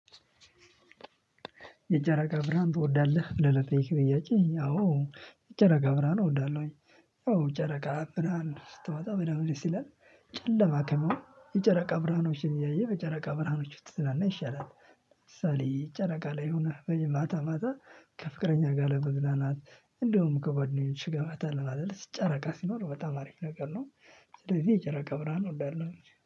የጨረቃ ብርሃን ትወዳለህ? ብለህ ለጠየከኝ ጥያቄ አዎ የጨረቃ ብርሃን እወዳለሁኝ። ያው ጨረቃ ብርሃን ስትወጣ በደንብ ደስ ይላል ጨለማ ከሚሆን የጨረቃ ብርሃኖችን እያየን በጨረቃ ብርሃኖች ውስጥ ስላናን ይሻላል። ለምሳሌ ጨረቃ ላይ ሆነህ ወይም ማታ ማታ ከፍቅረኛ ጋር ለመዝናናት እንደውም ከጓደኞችህ ጋር ፈታ ለማለት ጨረቃ ሲኖር በጣም አሪፍ ነገር ነው። ስለዚህ የጨረቃ ብርሃን እወዳለሁኝ።